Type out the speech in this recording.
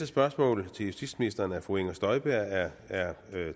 spørgsmål til justitsministeren fra fru inger støjberg er